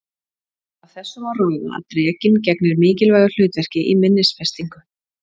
Af þessu má ráða að drekinn gegnir mikilvægu hlutverki í minnisfestingu.